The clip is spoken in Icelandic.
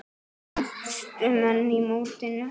Efstu menn í mótinu